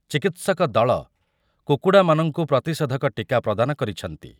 ଚିକିତ୍ସକ ଦଳ କୁକୁଡ଼ାମାନଙ୍କୁ ପ୍ରତିଷେଧକ ଟୀକା ପ୍ରଦାନ କରିଛନ୍ତି ।